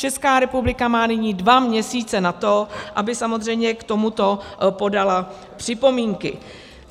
Česká republika má nyní dva měsíce na to, aby samozřejmě k tomuto podala připomínky.